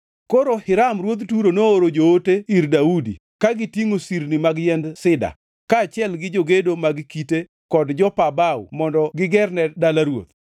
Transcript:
Koro Hiram ruodh Turo nooro joote ir Daudi ka gitingʼo sirni mag yiend sida, kaachiel gi jogedo mag kite kod jopa bao mondo gigerne dala ruoth.